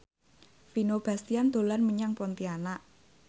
Vino Bastian dolan menyang Pontianak